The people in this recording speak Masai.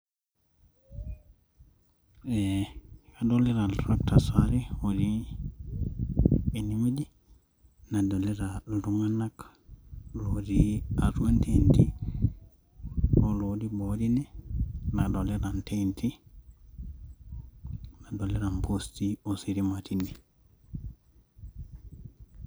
ee kadolita il tractors aare otii enewueji nadolita iltung'anak otii atua intenti oo lotii boo teine nadolita intenti nadolita impoosti ositima teine.